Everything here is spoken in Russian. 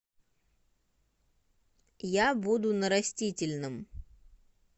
я буду на растительном